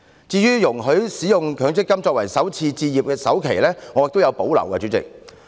至於容許使用強積金權益作為首次置業的首期，代理主席，我亦有所保留。